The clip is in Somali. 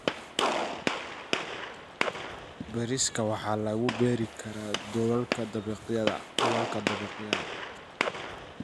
Bariiska waxaa lagu beeri karaa dhulalka dabaqyada.